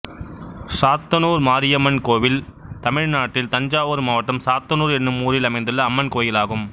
சாத்தனூர் மாரியம்மன் கோயில் தமிழ்நாட்டில் தஞ்சாவூர் மாவட்டம் சாத்தனூர் என்னும் ஊரில் அமைந்துள்ள அம்மன் கோயிலாகும்